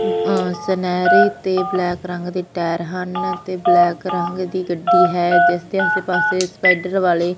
ਅ ਸਨੈਰੀ ਤੇ ਬਲੈਕ ਰੰਗ ਦੀ ਟਾਇਰ ਹਨ ਤੇ ਬਲੈਕ ਰੰਗ ਦੀ ਗੱਡੀ ਹੈ ਜਿਸ ਦੇ ਆਸੇ ਪਾਸੇ ਸਪਾਈਡਰ ਵਾਲੇ--